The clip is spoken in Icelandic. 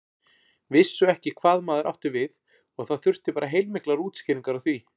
Vissu ekki hvað maður átti við og það þurfti bara heilmiklar útskýringar á því.